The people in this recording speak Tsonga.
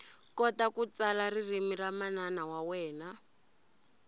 kota ku tsala ririmi ra manana wa wena